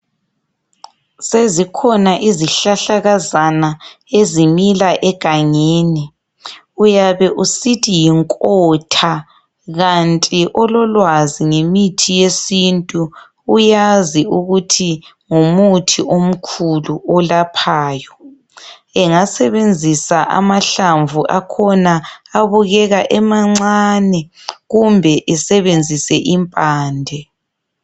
Sezikhona izihlahlakazana ezimila egangeni. Uyabe usithi yinkotha kanti ololwazi ngemithi yesintu uyazi ukuthi ngumuthi omkhulu olaphayo. Engasebenzisa amahlamvu akhona abukeka emancane kumbe esebenzise impande.